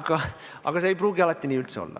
aga see ei pruugi üldse nii olla.